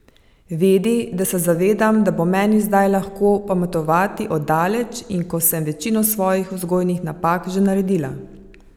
Vedi, da se zavedam, da bo meni zdaj lahko pametovati od daleč in ko sem večino svojih vzgojnih napak že naredila!